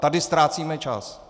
Tady ztrácíme čas.